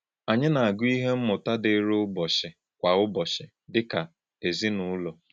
Ányí na-àgụ́ íhè mmụ́tà dị́rị̀ ụ̀bọ̀chí kwa ụ̀bọ̀chí dị́ ká èzìnúlò?